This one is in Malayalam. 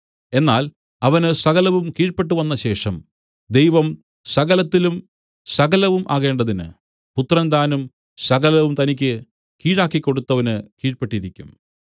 എന്നാൽ അവന് സകലവും കീഴ്പെട്ടുവന്നശേഷം ദൈവം സകലത്തിലും സകലവും ആകേണ്ടതിന് പുത്രൻ താനും സകലവും തനിക്ക് കീഴാക്കിക്കൊടുത്തവന് കീഴ്പെട്ടിരിക്കും